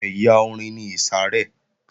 Ẹ̀yà orin ni ìsàrẹ́